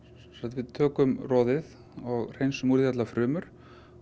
við tökum roðið og hreinsum úr því allar frumur